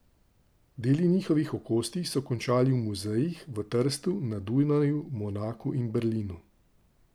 Deli njihovih okostij so končali v muzejih v Trstu, na Dunaju, v Monaku in Berlinu.